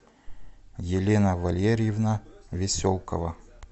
елена валерьевна веселкова